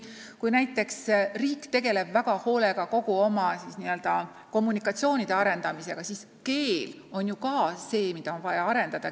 Kui riik tegeleb väga hoolega oma kommunikatsioonide arendamisega, siis ka keel on ju miski, mida on vaja arendada.